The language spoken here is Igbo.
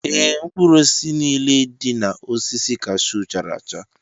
Ee, mkpụrụ osisi niile dị na osisi cashew chara acha.